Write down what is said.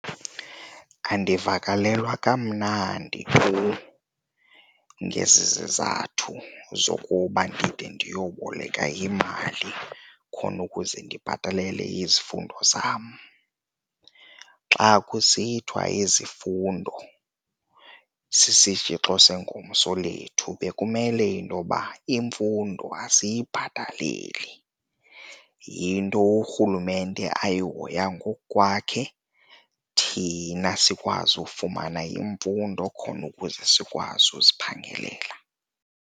Andivakalelwa kamnandi tu ngezi zizathu zokuba ndide ndiyokuboleka imali khona ukuze ndibhatalele izifundo zam. Xa kusithiwa izifundo sisitshixo sengomso lethu bekumele intoba imfundo asiyibhataleli, yinto urhulumente ayihoya ngokwakhe thina sikwazi ukufumana imfundo khona ukuze sikwazi uziphangelela.